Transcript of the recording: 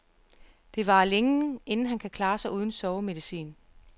Det varer længe, inden han kan klare sig uden sovemedicin.